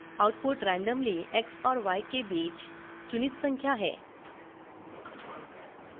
output randomly x और y के बीच चुनित संख्या है